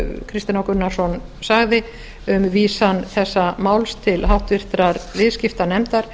kristinn h gunnarsson sagði um vísan þessa máls til háttvirtrar viðskiptanefndar